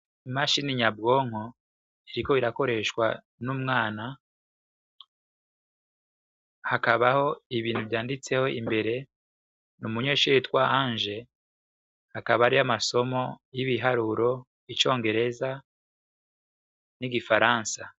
Imashine nyabwonko iriko irakoreshwa n'umwana, hakabaho ibintu vyanditseko imbere ni umunyeshure yitwa Ange, hakaba hariho amasomo y'ibiharuro, y'icongereza n'igifaransa.